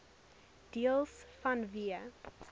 deels vanweë